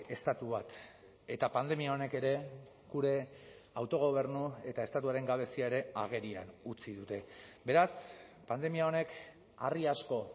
estatu bat eta pandemia honek ere gure autogobernu eta estatuaren gabezia ere agerian utzi dute beraz pandemia honek harri asko